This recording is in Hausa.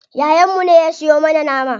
Yayan mu ne ya siyo mana nama.